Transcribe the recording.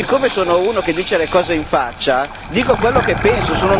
E siccome sono uno che dice le cose in faccia, dico quello che penso